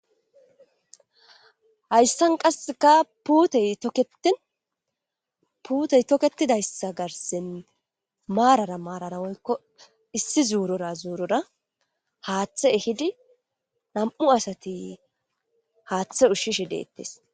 Hayssan qasseka teyteinpuutey toketidayssa garsin maarara maarara woykko issi zuurora zuurora haaththe ehidi nam'u asati haaththe ushshishe deettes.